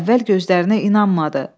Əvvəl gözlərinə inanmadı.